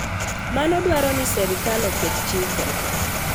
Mano dwaro ni sirkal oket chike .